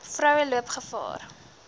vroue loop gevaar